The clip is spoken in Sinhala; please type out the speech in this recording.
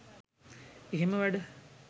එහෙම වැඩ